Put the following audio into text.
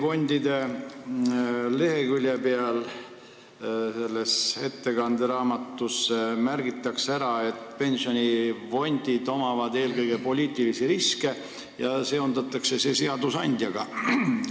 Aastaraamatu leheküljel, kus on juttu pensionifondidest, märgitakse ära, et pensionifondid omavad eelkõige poliitilisi riske, ja seondatakse seda seadusandjaga.